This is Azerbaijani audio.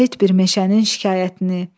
Şəhid bir meşənin şikayətini.